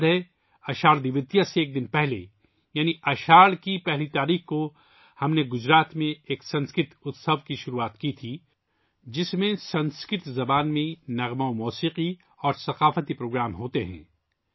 مجھے یاد ہے، اساڑھ دویتیہ سے ایک دن پہلے، یعنی اساڑھ کی پہلی تاریخ کو، ہم نے گجرات میں ایک سنسکرت اُتسو کی شروعات کی تھی، جس میں سنسکرت زبان میں گیت، سنگیت اور ثقافتی پروگرام ہوتے ہیں